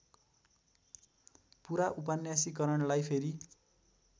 पुरा उपन्यासीकरणलाई फेरि